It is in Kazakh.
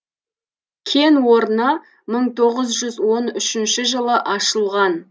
кен орны мың тоғыз жүз он үшінші жылы ашылған